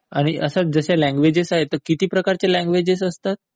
आणि जसं हे लँग्वेजेस आहेत, तर किती प्रकारच्या लँग्वेजेस असतात?